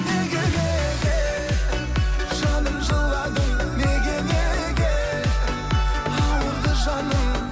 неге неге жаным жыладың неге неге ауырды жаның